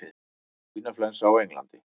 Svínaflensa á Englandi